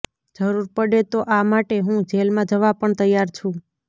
જરૂર પડે તો આ માટે હું જેલમાં જવા પણ તૈયાર છું